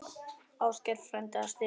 Óskar frændi að stríða henni.